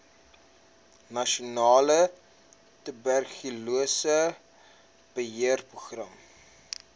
nasionale tuberkulose beheerprogram